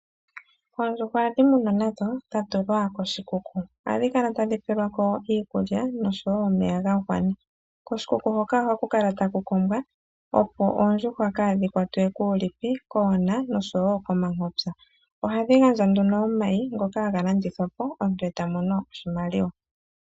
Oondjuhwa ohadhi munwa nadho dha tulwa koshikuku. Ohadhi kala tadhi pewelwa ko iikulya nosho wo omeya ga gwana. Koshikuku hoka ohaku kala taku kombwa, opo oondjuhwa kaadhi kwatwe kuulipi, koona nosho wo komankopya. Ohadhi gandja nduno omayi ngoka haga landithwapo omuntu e ta mono oshimaliwa.